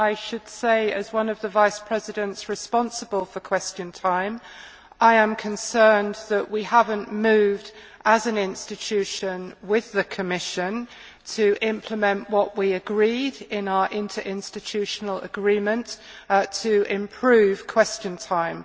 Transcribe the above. I should say as one of the Vice Presidents responsible for Question Time that I am concerned that we have not moved, as an institution, with the Commission, to implement what we agreed in our interinstitutional agreement, which was to improve Question Time.